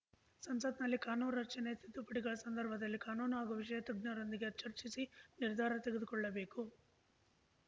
ಸಂಸತ್‌ನಲ್ಲಿ ಕಾನೂನೂ ರಚನೆ ಹಾಗೂ ತಿದ್ದುಪಡಿಗಳ ಸಂದರ್ಭದಲ್ಲಿ ಕಾನೂನೂ ಹಾಗೂ ವಿಷಯ ತಜ್ಞರೊಂದಿಗೆ ಚರ್ಚಿಸಿ ನಿರ್ಧಾರ ತೆಗೆದುಕೊಳ್ಳಬೇಕು